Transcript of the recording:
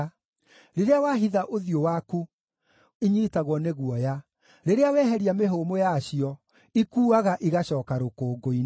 Rĩrĩa wahitha ũthiũ waku, inyiitagwo nĩ guoya; rĩrĩa weheria mĩhũmũ yacio, ikuuaga igaacooka rũkũngũ-inĩ.